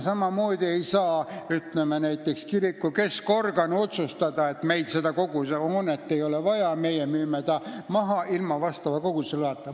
Samamoodi ei saa näiteks kiriku keskorgan otsustada, et meil seda hoonet vaja ei ole, me müüme ta maha ilma koguduse loata.